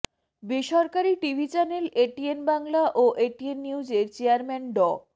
বেসরকারি TV channel ATN Bangla ও ATN নিউজের চেয়ারম্যান ড